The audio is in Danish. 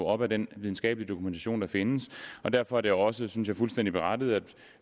op ad den videnskabelige dokumentation der findes og derfor er det også synes jeg fuldstændig berettiget at